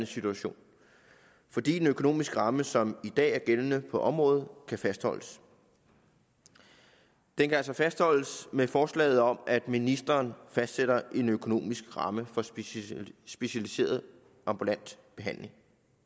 situation fordi den økonomiske ramme som i dag er gældende på området kan fastholdes den kan altså fastholdes med forslaget om at ministeren fastsætter en økonomisk ramme for specialiseret ambulant behandling